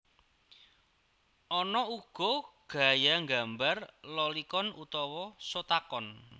Ana uga gaya nggambar Lolicon utawa Shotacon